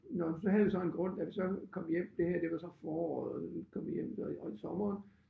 Nåh men så havde vi så en grund da vi så kom hjem det her det var så foråret vi kom hjem det var i i sommeren